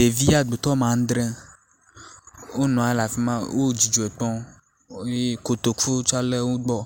Ɖevi agutɔ woame andre wonɔ le afi ma wo dzidzɔe kpɔ eye kotoku tsa le wo gbɔ.